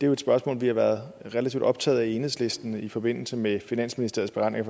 jo et spørgsmål vi har været relativt optaget af i enhedslisten i forbindelse med finansministers beregninger